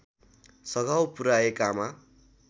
सघाउ पुर्‍याएकामा